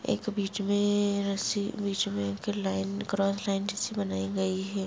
एक बीच में रस्सी बीच में एक लाइन क्रॉस लाइन जैसी बनाई गई है।